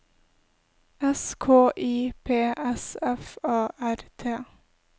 S K I P S F A R T